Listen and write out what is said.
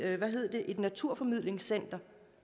et naturformidlingscenter